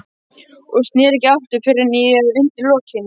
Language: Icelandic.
Og sneri ekki aftur: fyrr en í- eða undir- lokin.